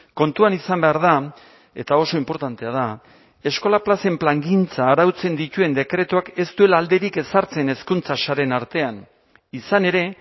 kontuan izan behar da eta oso inportantea da eskola plazen plangintza arautzen dituen dekretuak ez duela alderik ezartzen hezkuntza sareen artean izan ere